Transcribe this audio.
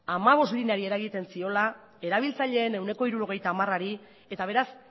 hamabost lineari eragiten ziola erabiltzaileen ehuneko hirurogeita hamarari eta beraz